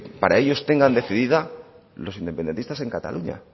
para ellos tengan decidida los independentistas en cataluña